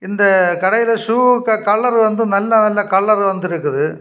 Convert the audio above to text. இந்த கடையில ஷூக்கு கலர் வந்து நல்ல நல்ல கலர் வந்து இருக்குது.